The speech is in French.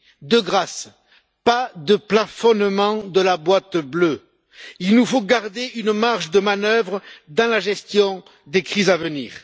De grâce, pas de plafonnement de la boîte bleue, il nous faut garder une marge de manœuvre dans la gestion des crises à venir.